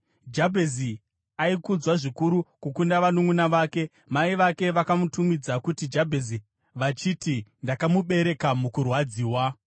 Jabhezi aikudzwa zvikuru kukunda vanunʼuna vake. Mai vake vakamutumidza kuti Jabhezi vachiti, “Ndakamubereka mukurwadziwa.”